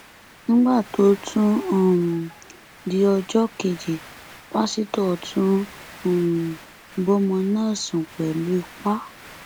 nígbà tó tún um di ọjọ kejì pásítọ tún um bọmọ náà sùn pẹlú ipa